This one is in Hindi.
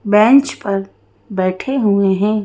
बेंच पर बैठे हुए हैं।